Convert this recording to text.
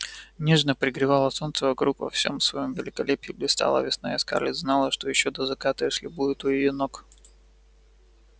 нежно пригревало солнце вокруг во всём своём великолепии блистала весна и скарлетт знала что ещё до заката эшли будет у её ног